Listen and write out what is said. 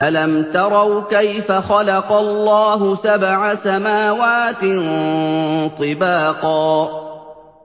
أَلَمْ تَرَوْا كَيْفَ خَلَقَ اللَّهُ سَبْعَ سَمَاوَاتٍ طِبَاقًا